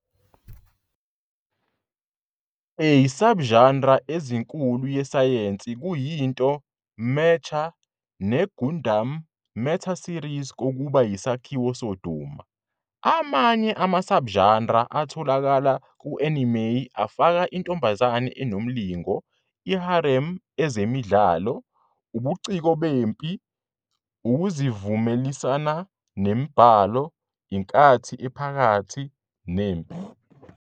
A subgenre ezinkulu yesayensi kuyinto Mecha, ne "Gundam" metaseries kokuba yisakhiwo sodumo. Amanye ama-subgenres atholakala ku-anime afaka intombazane enomlingo, i-harem, ezemidlalo, ubuciko bempi, ukuzivumelanisa nemibhalo, inkathi ephakathi, nempi.